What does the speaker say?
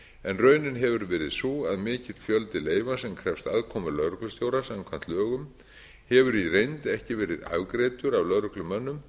en raunin hefur verið sú að mikill fjöldi leyfa sem krefst aðkomu lögreglustjóra samkvæmt lögum hefur í reynd ekki verið afgreiddur af lögreglumönnum